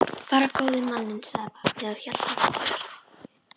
Bara góði manninn, sagði barnið og hélt fast í Örn.